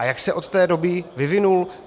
A jak se od té doby vyvinul?